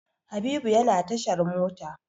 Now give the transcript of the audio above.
Habibu yana tashar mota.